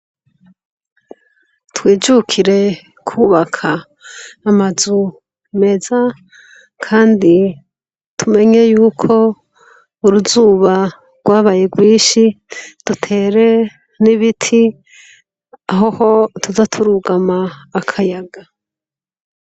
Twijukire kubaka amazu meza kandi tumenye yuko uruzuba rwabaye ryinshi dutere nibiti aho tuza turugama akayaga